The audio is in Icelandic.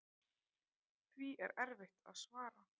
Því er erfitt að svara.